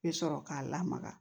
Bɛ sɔrɔ k'a lamaga